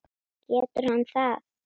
Getur hann það?